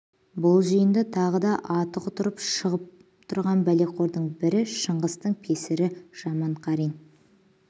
бұл жиында тағы да аты құтырып шығып тұрған пәлеқордың бірі шыңғыстың песірі жаманқарин